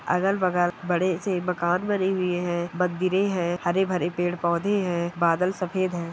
अगल-बगल बड़े से मकान बने हुऐ हैं मंदिरे है हरे-भरे पेड़-पौधे हैं बादल सफ़ेद हैं।